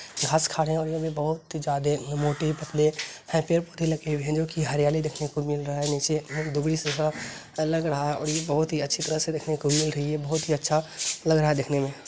घाँस खाने वाले भी बहुत ज्यादे मोटे पतले यहाँ पेड-पौधे लगे हुए हैं जो कि हरियाली देखने को मिल रहा हैं नीचे दुबलि सजा लग रहा-- और ये बहुत ही अच्छी तरह से देखने को मिल रही हैं बहुत ही अच्छा लग रहा हैं देखने में--